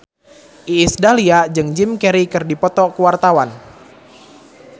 Iis Dahlia jeung Jim Carey keur dipoto ku wartawan